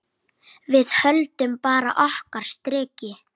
Við höldum bara okkar striki.